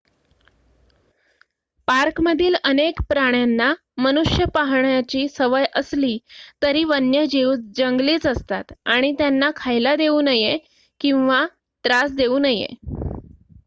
पार्कमधील अनेक प्राण्यांना मनुष्य पाहण्याची सवय असली तरी वन्यजीव जंगलीच असतात आणि त्यांना खायला देऊ नये किंवा त्रास देऊ नये